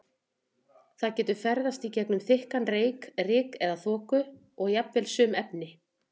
Það getur ferðast í gegnum þykkan reyk, ryk eða þoku og jafnvel sum efni.